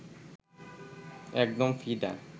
একদম ফিদা